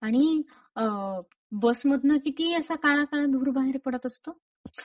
आणि बस मधनं किती असा काळा काळा धूर बाहेर पडत असतो!